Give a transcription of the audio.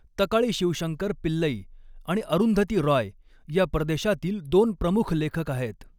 तकाऴि शिवशंकर पिल्लै आणि अरुंधती रॉय या प्रदेशातील दोन प्रमुख लेखक आहेत.